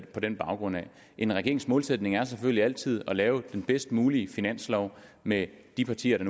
på den baggrund en regerings målsætning er selvfølgelig altid at lave den bedst mulige finanslov med de partier